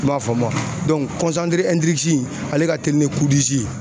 ma faamu ale ka telin ni ye.